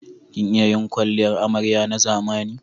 Kin iya yin kwalliyar amarya na zamani?